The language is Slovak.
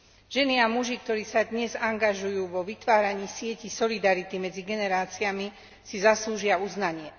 Ženy a muži, ktorí sa dnes angažujú vo vytváraní sietí solidarity medzi generáciami, si zaslúžia uznanie.